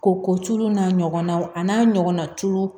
Ko ko tulu n'a ɲɔgɔnnaw a n'a ɲɔgɔna tuuru